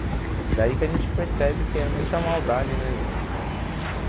É daí que a gente percebe que é muita maldade, né?